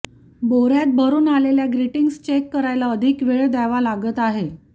बोर्यात भरून आलेल्या greetings check करायला अधिक वेळ द्यावा लागत आहे